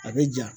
A bɛ ja